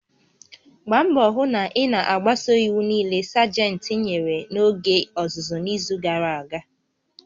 Gbaa mbọ hụ na ị na-agbaso iwu niile Sajentị nyere n'oge ọzụzụ n'izu gara aga!